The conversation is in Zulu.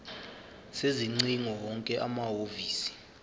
sezingcingo wonke amahhovisi